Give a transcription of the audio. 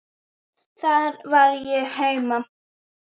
Þar var ég heima.